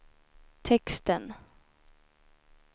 texten